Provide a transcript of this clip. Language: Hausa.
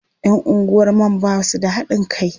Yan unguwar man ba su da haɗin kai.